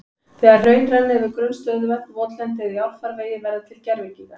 Þegar hraun renna yfir grunn stöðuvötn, votlendi eða í árfarvegi verða til gervigígar.